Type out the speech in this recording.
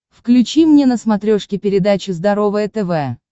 включи мне на смотрешке передачу здоровое тв